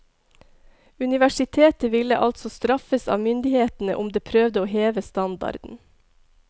Universitetet ville altså straffes av myndighetene om det prøvde å heve standarden.